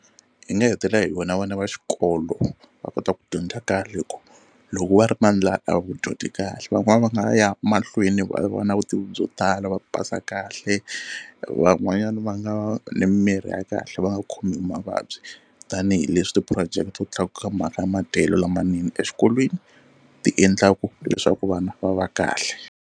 Hi nga hetelela hi vona vana va xikolo va kota ku dyondza kahle hi ku loko va ri na ndlala a vudyondzi kahle. Van'wana va nga ya mahlweni va va na vutivi byo tala va pasa kahle van'wanyana va nga ni mirhi ya kahle va nga khomiwi hi mavabyi tanihileswi ti-project to tlakuka mhaka ya madyelo lamanene exikolweni ti endlaka leswaku vana va va kahle.